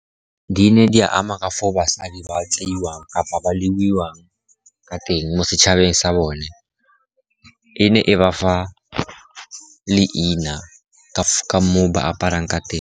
Di ne di ama ka foo basadi ba tseiwang kapa ba lebiwang ka teng mo setšhabeng sa bone, e ne e ba fa leina ka moo ba aparang ka teng.